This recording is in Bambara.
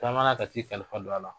Taama na ka t'i kalifa don a la.